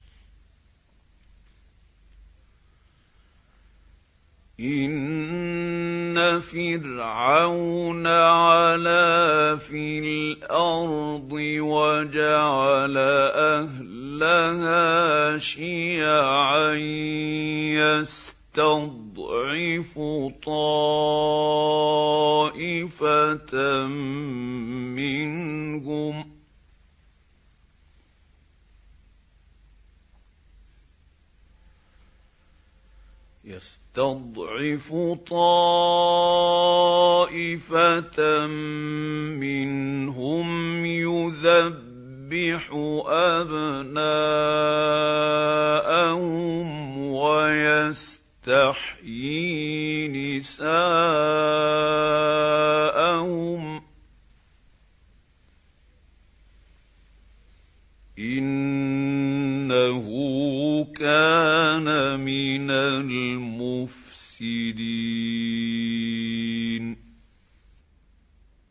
إِنَّ فِرْعَوْنَ عَلَا فِي الْأَرْضِ وَجَعَلَ أَهْلَهَا شِيَعًا يَسْتَضْعِفُ طَائِفَةً مِّنْهُمْ يُذَبِّحُ أَبْنَاءَهُمْ وَيَسْتَحْيِي نِسَاءَهُمْ ۚ إِنَّهُ كَانَ مِنَ الْمُفْسِدِينَ